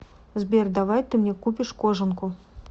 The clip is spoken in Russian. сбер давай ты мне купишь кожанку